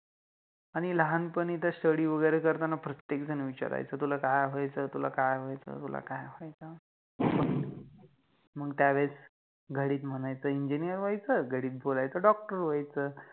आणि लहानपणि त Study वगेरे करताना प्रत्येक जण विचारायच कि तुला काय व्हायच, तुला काय व्हायच, तुला काय व्हायच, मंग, मंग त्यावेळेस घडित म्हणायचं Engineer व्हायच, घडित बोलायच Doctor व्हायच